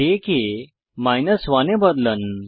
day কে 1 এ বদলান